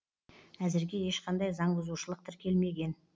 әзірге ешқандай заңбұзушылық тіркелмеген